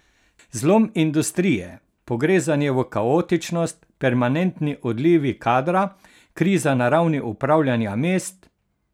Zlom industrije, pogrezanje v kaotičnost, permanentni odlivi kadra, kriza na ravni upravljanja mest...